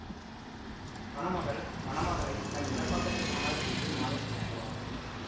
மணமகள் மணமகளைத் தன் இடப்பக்கத்தில் அமர செய்து மாலை சூட்டுவாள்